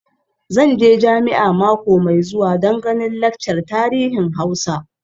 Zan je jami'a mako mai zuwa don ganin laccar tarihin Hausa.